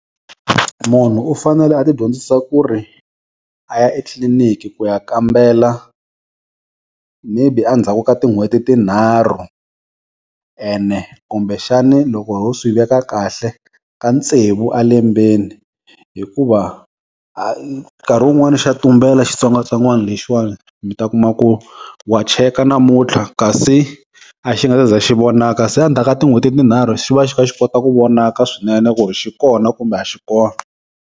Munhu u fanele a ti dyondzisa ku ri a ya etliliniki ku ya kambela maybe endzhaku ka tin'hweti tinharhu ene kumbe xani loko ho swi veka kahle ta tsevu elembeni hikuva nkarhi wun'wani xa tumbela xitsongwatsongwana lexiwani mi ta kuma ku wa cheka namuntlha kasi a xi nga si za xi vonaka se endzhaku ka tin'hweti tinharhu xi va xi kha xi kota ku vonaka swinene ku ri xi kona kumbe a xi kona.